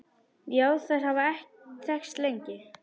Já, þær hafa þekkst lengi.